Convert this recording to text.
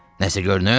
Nəsə görünür?